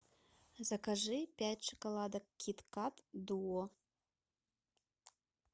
закажи пять шоколадок киткат дуо